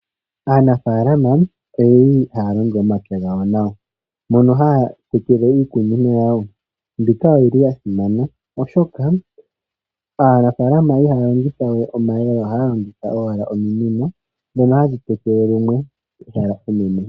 Aanafalama oyeli haya longo omapya gawo nawa mono haya tekele iikunomwa yawo ,iikunomwa oyili ya simana oshoka aanafalama iha ya longitha we omayemele ihe ohaya longitha owala ominino dhono hadhi tekele lumwe.